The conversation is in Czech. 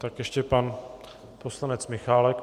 Tak ještě pan poslanec Michálek.